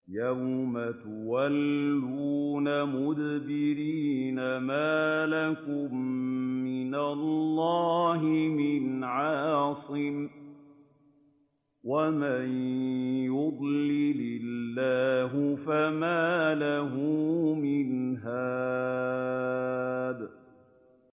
يَوْمَ تُوَلُّونَ مُدْبِرِينَ مَا لَكُم مِّنَ اللَّهِ مِنْ عَاصِمٍ ۗ وَمَن يُضْلِلِ اللَّهُ فَمَا لَهُ مِنْ هَادٍ